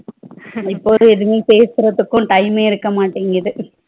இப்ப ஒரு எதுவுமே பேசுறதுக்கும் time மே இருக்க மாட்டிங்குது